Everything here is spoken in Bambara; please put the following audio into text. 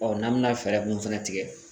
n'an be na fɛɛrɛ mun fana tigɛ